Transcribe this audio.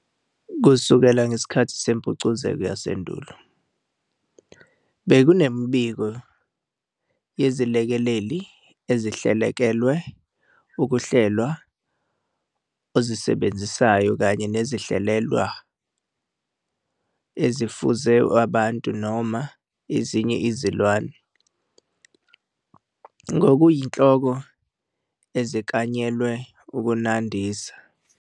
Kusukela ngesikhathi sempucuko yasendulo, bekunemibiko yezilekeleli ezihlelelekelwe ukuhlelwa ozisebenzisayo kanye nezihlelelekwa ezifuze abantu noma ezinye izilwane, ngokuyinhloko eziklanyelwe ukunandisa.